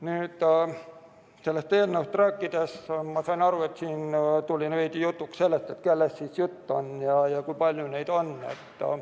Nüüd, kui sellest eelnõust räägiti, siis sain ma aru, et tekkis küsimus, kellest jutt on ja kui palju neid on.